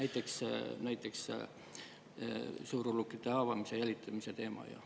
Toon näiteks suurulukite haavamise ja jälitamise teema.